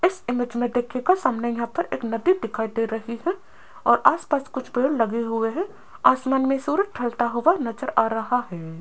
इस इमेज मे देखियेगा सामने यहां पर एक नदी दिखाई दे रही है और आस पास कुछ पेड़ लगे हुए है आसमान मे सूरज ढलता हुआ नज़र आ रहा है।